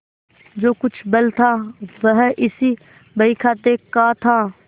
जो कुछ बल था वह इसी बहीखाते का था